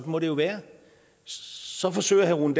må det jo være så forsøger herre rune